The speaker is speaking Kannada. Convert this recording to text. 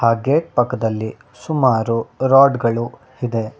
ಹಾಗೆ ಪಕ್ಕದಲ್ಲಿ ಸುಮಾರು ರಾಡ್ ಗಳು ಇದೆ.